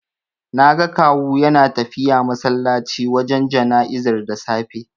Naga Kawu yana tafiya masallaci wajen jana'izar da safe.